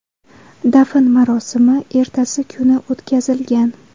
Dafn marosimi ertasi kuni o‘tkazilgan.